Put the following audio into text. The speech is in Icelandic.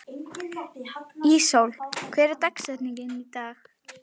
Íssól, hver er dagsetningin í dag?